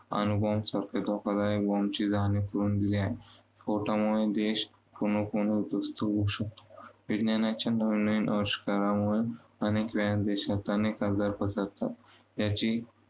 अणु bomb सारख्या धोकादायक bomb ची जाणीव करून दिली आहे. स्फोटांमुळे देश पूर्णपणे उद्धवस्त होऊ शकतो. विज्ञानाच्या नवनवीन अविष्कारांमुळे अनेक वेळा देशात अनेक आजार पसरतात याची